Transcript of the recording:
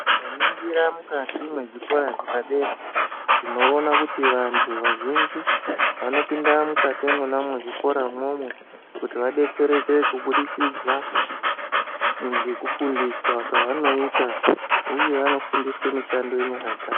Tinganingira mukati mwezvikora zvepadera, tinoona kuti vantu vazhinji vanopinda mukati mwonamwo mwezvikora umwomwo kuti vadetsereke kubudikidza ngekufundiswa kwavanoita uye vanofundiswa mishando yenyara dzavo.